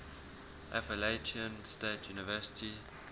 appalachian state university